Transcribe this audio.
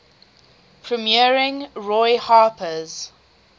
premiering roy harper's